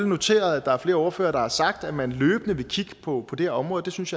noteret at der er flere ordførere der har sagt at man løbende vil kigge på det her område det synes